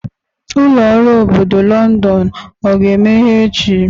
Ụlọ ọrụ obodo Londonu ọ ga-emeghe echi?